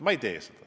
Ma ei tee seda.